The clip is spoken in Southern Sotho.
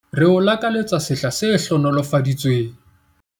Re o lakaletsa sehla se hlohonolofaditsweng!